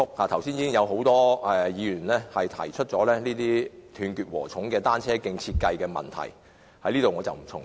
剛才已有多位議員提出這種"斷截禾蟲"的單車徑的設計問題，我在此不再重複。